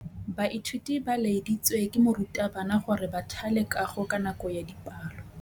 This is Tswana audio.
Baithuti ba laeditswe ke morutabana gore ba thale kagô ka nako ya dipalô.